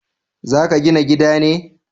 Za ka gina gida ne?